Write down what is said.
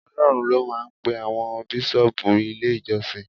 Ọlọ́run ló máa ń pe àwọn Bíṣọ́ọ̀bù ilé ìjọsìn.